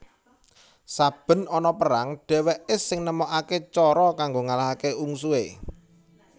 Saben ana perang dheweke sing nemokake cara kanggo ngalahake ungsuhe